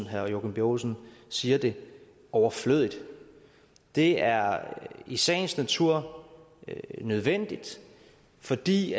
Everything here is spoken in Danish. herre joachim b olsen siger det overflødigt det er i sagens natur nødvendigt fordi